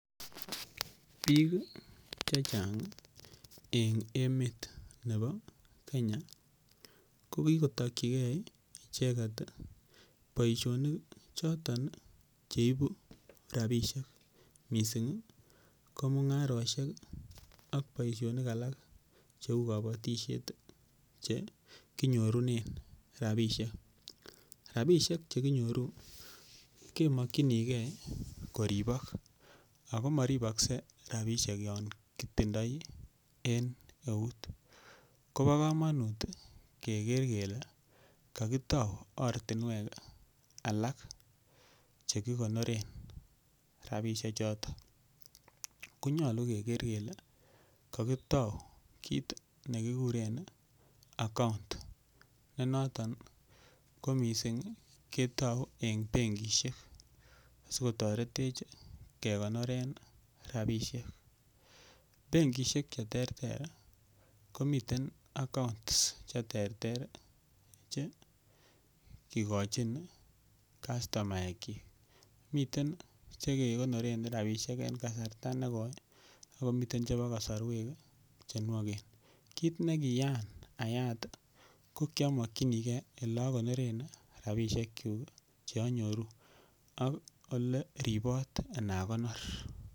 Bik Che Chang en emet nebo Kenya ko ki kotokyi icheget boisionik choton Che ibu rabisiek mising ko mungarosiek ak boisionik alak Cheu kabatisiet Che kinyorunen rabisiek rabisiek Che kinyoru kemokyinge koribok ago moribokse rabisiek yon kitindoi en eut kobo kamanut keger kele kakitou ortinwek alak Che ki konoren rabisiechuto ko nyolu keger kele kagitou kit ne kiguren account ne noton ko mising ketou en benkisiek asi kotoretech kegonoren rabisiek benkisiek Che terter komiten accounts Che terter Che kigochin kastomaekyik miten Che kegonoren rabisiek en kasarta negoi ak komiten chebo kasarwek Che nwogen kit ne kiyaan ayat ko ki amokyinige Ole agonoren rabisiek kyuk Che anyoruu ak Ole ribot Ana konor